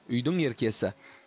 үйдің еркесі